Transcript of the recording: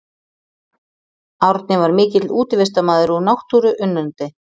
Árni var mikill útivistarmaður og náttúruunnandi.